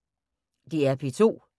DR P2